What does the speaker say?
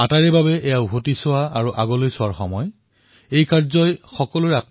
আমি এনে কাম কৰিব লাগে যাতে নিজৰ জীৱনলৈ পৰিৱৰ্তন অহাৰ উপৰিও ই যাতে দেশ তথা সমাজক আগুৱাই লৈ যোৱাত সহায়ক হয়